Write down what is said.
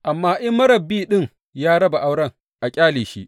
Amma in marar bi ɗin ya raba auren, a ƙyale shi.